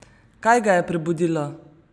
Kaj ga je prebudilo?